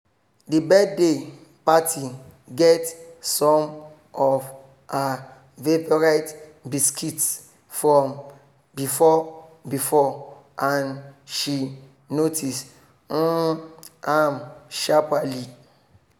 the birthday party get some of her favourite biscuits from before before and she notice um am sharperly